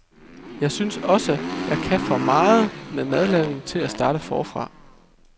Jeg synes også, at jeg kan for meget med madlavning til at starte forfra.